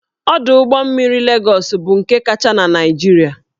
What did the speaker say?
Ọdụ ụgbọ mmiri Legọs bụ nke kacha na Naịjirịa